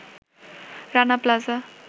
Rana plaza